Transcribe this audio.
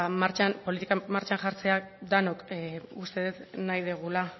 politikan martxan jartzeak denok uste dut nahi dugula